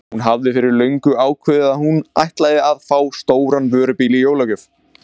Hún hafði fyrir löngu ákveðið að hún ætlaði að fá stóran vörubíl í jólagjöf.